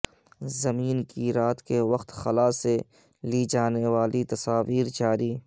زمین کی رات کے وقت خلا سے لی جانیوالی تصاویر جاری